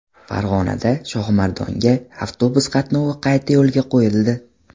Farg‘onadan Shohimardonga avtobus qatnovi qayta yo‘lga qo‘yildi.